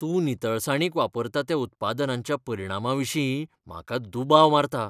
तूं नितळसाणीक वापरता त्या उत्पादनांच्या परिणामाविशीं म्हाका दुबाव मारता.